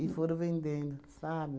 E foram vendendo, sabe?